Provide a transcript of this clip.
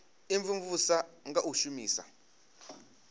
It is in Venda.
u imvumvusa nga u shumisa